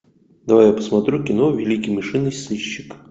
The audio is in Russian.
давай я посмотрю кино великий мышиный сыщик